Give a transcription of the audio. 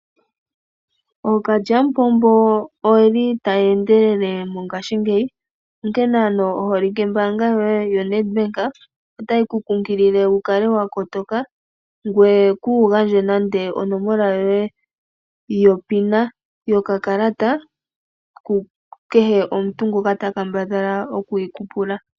Ookalyamupombo oyeli taya endelele mongaashi ngeyi onkene oholike mbanga yoye yoNetbank otayi ku kunkilile wu kale wa kotoka ngweye kuugandje nande onomola yoye yomeholamo yokakalata ku kehe omuntu ngoka ta kambadhala oku yi ku pula.